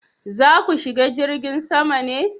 za ku shiga jirgin sama ne?